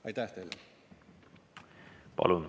Aitäh teile!